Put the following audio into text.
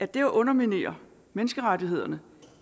det at underminere menneskerettighederne